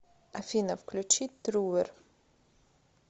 афина включи трувер